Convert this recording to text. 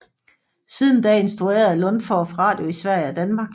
Siden da instruerede Lundorph radio i Danmark og Sverige